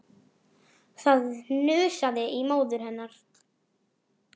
Þetta kemur betur í ljós hér á eftir.